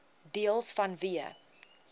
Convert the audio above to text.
deels vanweë